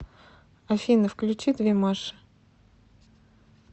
афина включи две маши